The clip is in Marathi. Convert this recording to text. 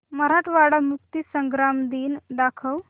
मराठवाडा मुक्तीसंग्राम दिन दाखव